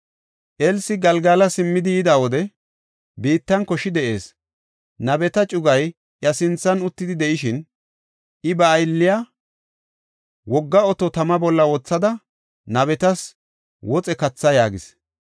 Elsi Galgala simmidi yida wode, biittan koshi de7ees. Nabeta cugay iya sinthan uttidi de7ishin, I ba aylliya, “Wogga oto tama bolla wothada, nabetas woxe katha” yaagis.